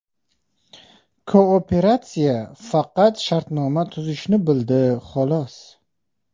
Kooperatsiya faqat shartnoma tuzishni bildi xolos.